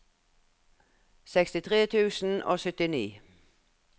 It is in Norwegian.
sekstitre tusen og syttini